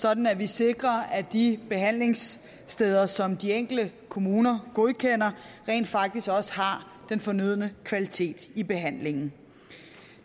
sådan at vi sikrer at de behandlingssteder som de enkelte kommuner godkender rent faktisk også har den fornødne kvalitet i behandlingen